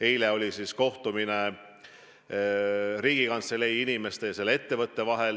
Eile oli kohtumine Riigikantselei inimeste ja selle ettevõtte vahel.